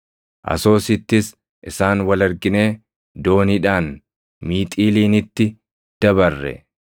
Asoosittis isaan wal arginee dooniidhaan Miixiiliinitti dabarre.